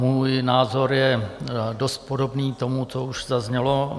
Můj názor je dost podobný tomu, co už zaznělo.